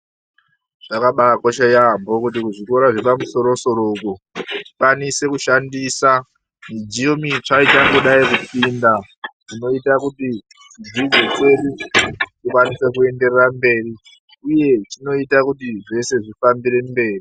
Zvakabaakosha yaambo kuti kuzvikora zvepamusoro soro uku zvikwanise kushandisa midziyo mitsva ichangodayi kupinda zvinoite kuti dzidzo dzedu dzikwanise kuenderera mberi uye zvinoita kuti zvese zvifambire mberi.